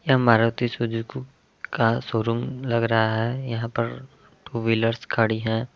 यह मारुति सुजुकू का शोरूम लग रहा है। यहाँ पर टू व्हीलर्स खड़ी है।